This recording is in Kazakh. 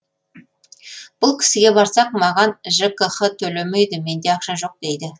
бұл кісіге барсақ маған жкх төлемейді менде ақша жоқ дейді